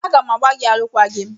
A ga m agbà gị alụkwaghịm!